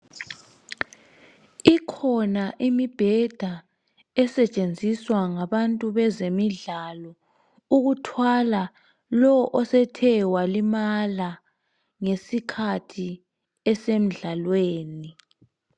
Ikhona imibheda esetshenziswa ngabantu bezemidlalo ukuthwala lo osethe walimala ngesikhathi esemdlalweni.